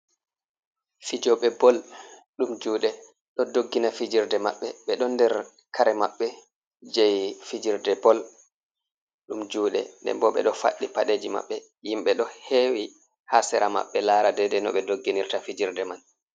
Fijooɓe bol ɗum juuɗe ɗo doggina fijerde maɓɓe. Ɓe ɗon nder kare maɓɓe jei fijerde bol ɗum juuɗe. Nden bo ɓe ɗo faɗɗi paɗeeji maɓɓe. Himɓe ɗo hewi ha sera maɓɓe lara dedei no ɓe dogginirta fijirde man.